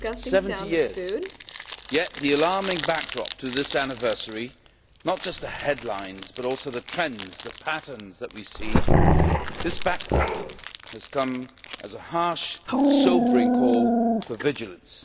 Seventy years, yet the alarming backdrop to this anniversary not just the headlines but also the trends, the patterns that we see this backdrop has come as a harsh, sobering call for vigilance.